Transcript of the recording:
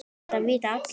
Þetta vita allir.